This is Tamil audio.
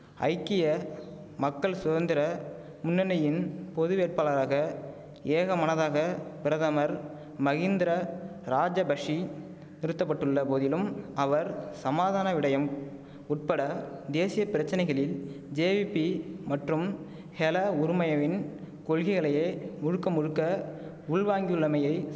ஐக்கிய மக்கள் சுதந்திர முன்னணியின் பொது வேட்பாளராக ஏகமனதாக பிரதமர் மகிந்தர ராஜபஷி நிறுத்த பட்டுள்ள போதிலும் அவர் சமாதான விடயம் உட்பட தேசிய பிரச்சனைகளில் ஜேவிபி மற்றும் ஹெல உறுமயவின் கொள்கைகளையே முழுக்க முழுக்க உள்வாங்கியுள்ளமையை